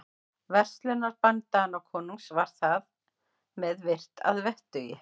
Verslunarbann Danakonungs var þar með virt að vettugi.